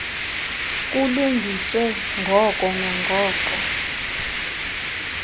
kulungiswe ngoko nangoko